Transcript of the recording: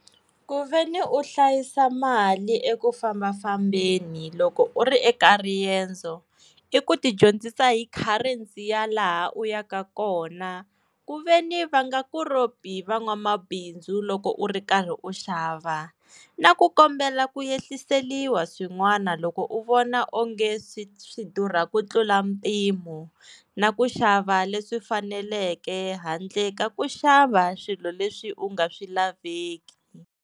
Kuveni u hlayisa mali eku fambafambeni loko u ri eka riendzo i ku ti dyondzisa hi currency ya laha u ya ka kona ku ve ni va nga ku ropi van'wamabindzu loko u ri karhi u xava na ku kombela ku yehliseliwa swin'wana loko u vona onge swi swi durha ku tlula mpimo na ku xava leswi faneleke handle ka ku xava swilo leswi u nga swi laveki.